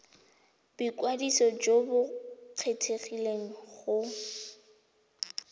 boikwadiso jo bo kgethegileng go